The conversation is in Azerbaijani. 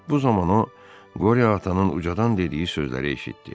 Bu zaman o, Qori atanın ucadan dediyi sözləri eşitdi: